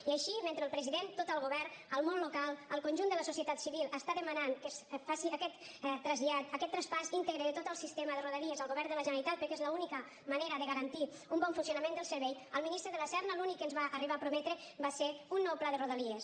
i així mentre el president tot el govern el món local el conjunt de la societat civil està demanant que es faci aquest trasllat aquest traspàs íntegre de tot el sistema de rodalies al govern de la generalitat perquè és l’única manera de garantir un bon funcionament del servei el ministre de la serna l’únic que ens va arribar a prometre va ser un nou pla de rodalies